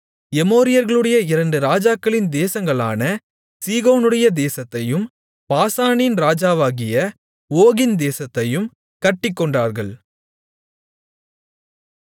எமோரியர்களுடைய இரண்டு ராஜாக்களின் தேசங்களான சீகோனுடைய தேசத்தையும் பாசானின் ராஜாவாகிய ஓகின் தேசத்தையும் கட்டிக்கொண்டார்கள்